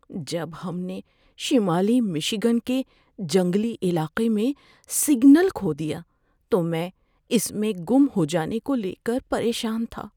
جب ہم نے شمالی مشی گن کے جنگلی علاقے میں سگنل کھو دیا تو میں اس میں گم ہو جانے کو لے کر پریشان تھا۔